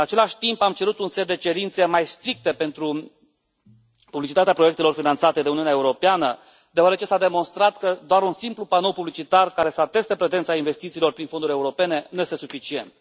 În același timp, am cerut un set de cerințe mai stricte pentru publicitatea proiectelor finanțate de Uniunea Europeană, deoarece s a demonstrat că doar un simplu panou publicitar care să ateste prezența investițiilor prin fonduri europene nu este suficient.